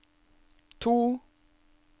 to